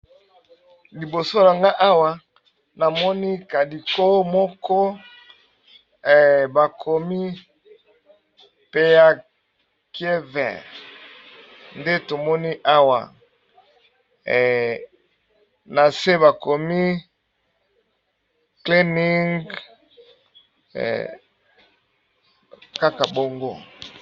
Liboso nanga awa namoni logo moko bakomi peya kiever ,nde tomoni awa na se bakomi cleening kaka bango.